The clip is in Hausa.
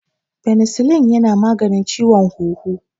Penicillin yana maganin ciwon huhu.